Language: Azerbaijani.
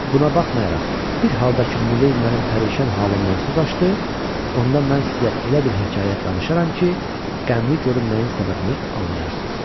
Buna baxmayaraq, bir halda ki Muley mənim pərişan halımdan söz açdı, onda mən sizə elə bir hekayə danışaram ki, qəmli görünməyin səbəbini anlayarsınız.